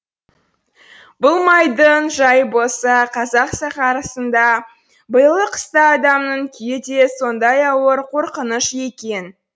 бұл малдың жайы болса қазақ сахарасында биылғы қыста адамның күйі де сондай ауыр қорқыныш екен